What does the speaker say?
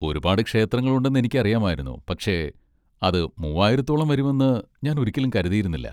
ഒരുപാട് ക്ഷേത്രങ്ങൾ ഉണ്ടെന്ന് എനിക്കറിയാമായിരുന്നു, പക്ഷേ അത് മൂവ്വായിരത്തോളം വരുമെന്ന് ഞാൻ ഒരിക്കലും കരുതിയിരുന്നില്ല.